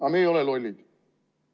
Aga me ei ole lollid.